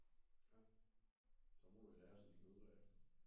Ja så må du i lære som smed bagefter